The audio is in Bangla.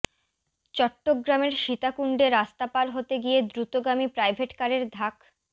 চট্টগ্রামের সীতাকুণ্ডে রাস্তা পার হতে গিয়ে দ্রুতগামী প্রাইভেটকারের ধাক্